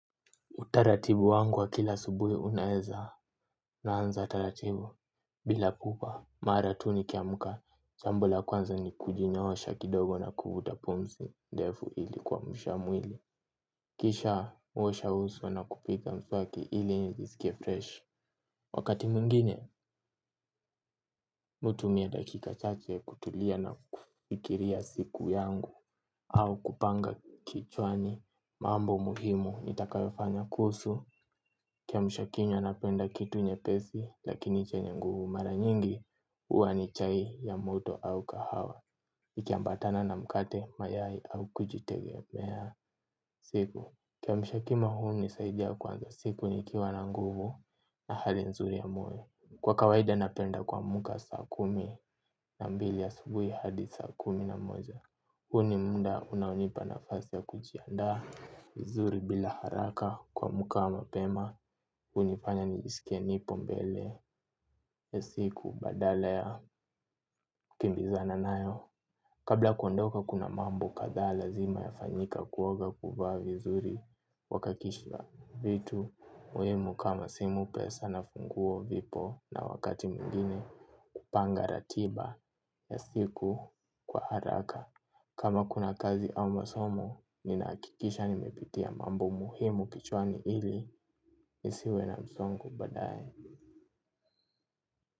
Utaratibu wangu wa kila asubuhi unaeza unaanza taratibu bila pupa mara tu nikiamka jambo la kwanza ni kujinyoosha kidogo na kuvuta pumzi ndefu ili kuamsha mwili. Kisha kuosha uswa na kupia mswaki ili nisikie fresh. Wakati mwingine mi hutumia dakika chache kutulia na kufikiria siku yangu au kupanga kichwani mambo muhimu nitakayofanya kuhusu kiamshakinywa napenda kitu nyepesi lakini chenye nguvu, mara nyingi huwa ni chai ya moto au kahawa. Ikiambatana na mkate mayai au kujitegemea siku. Kiamshakinywa hunisaidia kuanza siku nikiwa na nguvu na hali nzuri ya moyo. Kwa kawaida napenda kuamka saa kumi na mbili ya asubuhi hadi saa kumi na moja. Huu ni muda unaonipa nafasi ya kujiandaa vizuri bila haraka kuamka mapema. Hunifanya nijisike nipo mbele ya siku badala ya kukimbizana nayo. Kabla ya kuondoka kuna mambo kadha lazima yafanyike kuoga kuvaa vizuri kuhakikisha vitu muhimu kama simu pesa na funguo vipo na wakati mwingine kupanga ratiba ya siku kwa haraka. Kama kuna kazi au masomo, ninahakikisha nimepitia mambo muhimu kichwani ili, nisiwe na msongo baadaye.